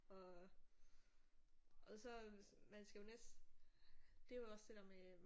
Og og så man skal jo det er jo også det der med